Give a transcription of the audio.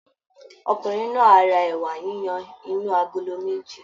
Ọkùnrin náà á ra ẹ̀wà yiyan inú agolo méjì